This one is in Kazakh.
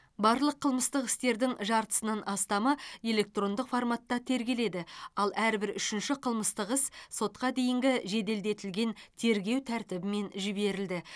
барлық қылмыстық істердің жартысынан астамы электрондық форматта тергеледі ал әрбір үшінші қылмыстық іс сотқа дейінгі жеделдетілген тергеу тәртібімен жіберілді